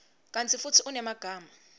kantsi futsi unemagama